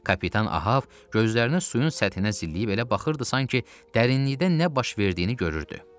Kapitan Av gözlərini suyun səthinə zilləyib elə baxırdı sanki dərinlikdə nə baş verdiyini görürdü.